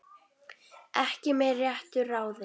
Ekki með réttu ráði?